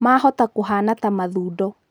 Mahoota kũhana ta mathundo.